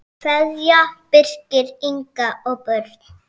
Kveðja, Birkir, Inga og börn.